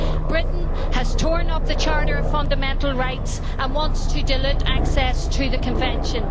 Britain has torn up the Charter of Fundamental Rights and wants to dilute access to the Convention.